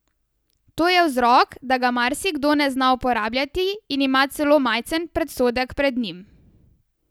To je vzrok, da ga marsikdo ne zna uporabljati in ima celo majcen predsodek pred njim.